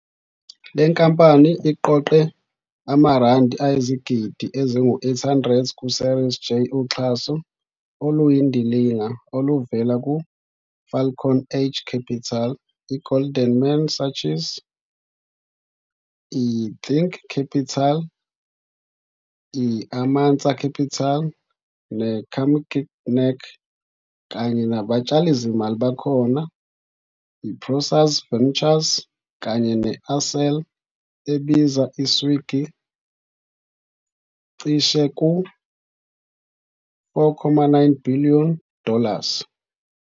Le nkampani iqoqe amaRandi ayizigidi ezingu-800 ku-Series J uxhaso oluyindilinga oluvela ku-Falcon Edge Capital, i-Goldman Sachs, i-Think Capital, i-Amansa Capital, ne-Carmignac, kanye nabatshalizimali abakhona i-Prosus Ventures kanye ne-Accel ebiza i-Swiggy cishe ku-4.9 billion dollars.